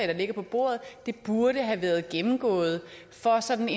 der ligger på bordet burde have været gennemgået ud fra sådan